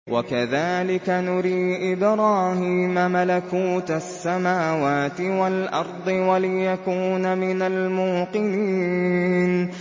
وَكَذَٰلِكَ نُرِي إِبْرَاهِيمَ مَلَكُوتَ السَّمَاوَاتِ وَالْأَرْضِ وَلِيَكُونَ مِنَ الْمُوقِنِينَ